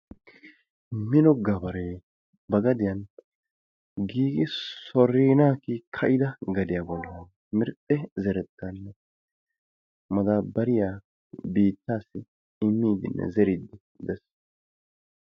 Mino gabaree ba gadiyan giigi sorinaa kiyida gadiyaa bollaa mirxxe zerettaanne madaabbariyaa biittaassi immiidinne zeriiddi dees.